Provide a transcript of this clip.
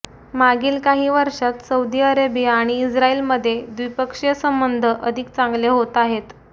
मागील काही वर्षात सौदी अरेबिया आणि इस्रायलमध्ये द्विपक्षीय संबंध अधिक चांगले होत आहेत